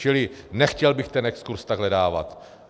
Čili nechtěl bych ten exkurz takhle dávat.